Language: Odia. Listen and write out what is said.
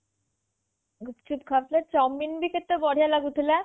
ଗୁପଚୁପ ଖାଉଥିଲେ ଚାଓମିନ ବି କେତେ ବଢିଆ ଲାଗୁଥିଲା